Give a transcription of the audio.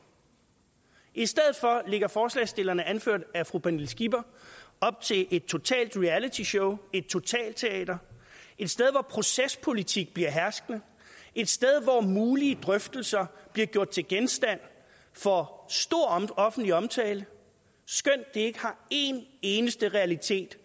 i stedet for lægger forslagsstillerne anført af fru pernille skipper op til et totalt reality show et totalteater et sted hvor procespolitik bliver herskende et sted hvor mulige drøftelser bliver gjort til genstand for stor offentlig omtale skønt de ikke har en eneste realitet